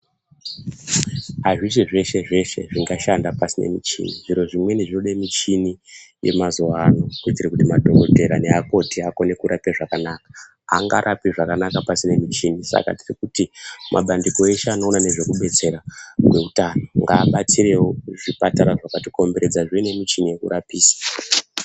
Pazveshe zveshe zveshe zvingashanda pasina michini zviro zviro zvimweni zvinoda michini yemazuva ano kuitira kuti madhokodheya nemakoti akone kurapa zvakanaka angarapi zvakanaka pasina muchini Saka tiri kuti mabandiko eshe anoona nezvekubetsera ngehutano ngabatsirawo zvipatara zvakatikomberedza zvione michini yekurapisa.